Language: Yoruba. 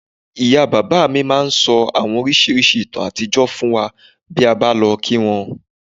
Ìyá bàbá mi máa ń ń sọ àwọn oríṣiríṣi ìtàn àtijọ́ fún wa bí a bá lọ kí wọ́n